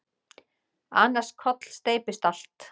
Annars kollsteypist allt.